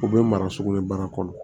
U bɛ mara sogo in baara kɔnɔ